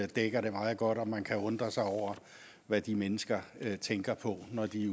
dækker det meget godt og man kan undre sig over hvad de mennesker tænker på når de